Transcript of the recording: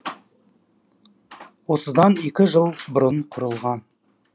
осыдан екі жыл бұрын құрылған